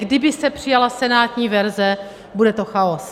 Kdyby se přijala senátní verze, bude to chaos.